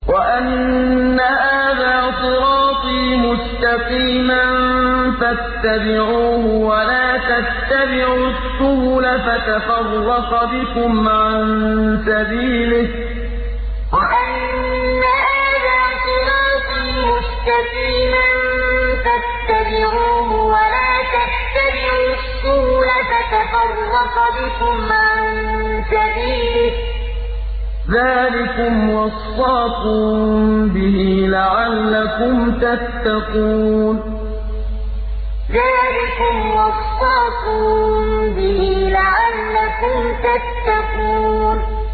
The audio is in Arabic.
وَأَنَّ هَٰذَا صِرَاطِي مُسْتَقِيمًا فَاتَّبِعُوهُ ۖ وَلَا تَتَّبِعُوا السُّبُلَ فَتَفَرَّقَ بِكُمْ عَن سَبِيلِهِ ۚ ذَٰلِكُمْ وَصَّاكُم بِهِ لَعَلَّكُمْ تَتَّقُونَ وَأَنَّ هَٰذَا صِرَاطِي مُسْتَقِيمًا فَاتَّبِعُوهُ ۖ وَلَا تَتَّبِعُوا السُّبُلَ فَتَفَرَّقَ بِكُمْ عَن سَبِيلِهِ ۚ ذَٰلِكُمْ وَصَّاكُم بِهِ لَعَلَّكُمْ تَتَّقُونَ